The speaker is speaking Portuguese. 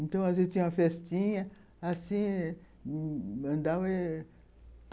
Então, às vezes, tinha uma festinha... assim...